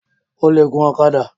O le gun ọ̀kadà?